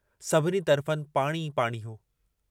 सभिनी तरफ़नि पाणी ई पाणी हो।